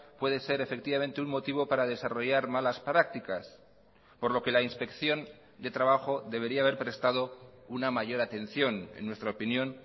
puede ser efectivamente un motivo para desarrollar malas prácticas por lo que la inspección de trabajo debería haber prestado una mayor atención en nuestra opinión